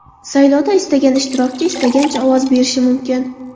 Saylovda istagan ishtirokchi istagancha ovoz berishi mumkin.